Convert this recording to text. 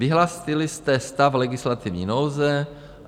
Vyhlásili jste stav legislativní nouze.